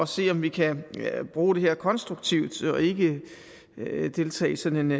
se om vi kan bruge det her konstruktivt og ikke deltage i sådan